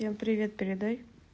всем привет передай